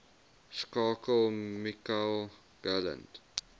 skakel michael gallant